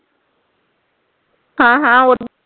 ਹਾਂ ਹਾਂ ਹੋਰ